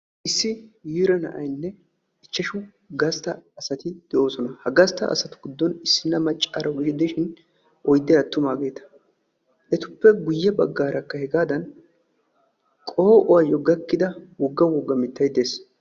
issi yiira na'aynne ichashshu gasta asati de'oosona. ha gasta asati giddon issinna macaaro gidishin oyday attumaageeta. etappe guye bagaarakka hegaadan qoo'uwayo gakkida woga woga mitay de'ees.